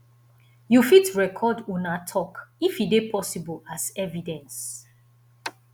you fit record una talk if e de possible as evidence